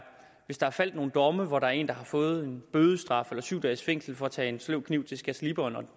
hvis der er faldet nogle domme hvor der er en der har fået en bødestraf eller syv dages fængsel for at tage en sløv kniv til skærsliberen og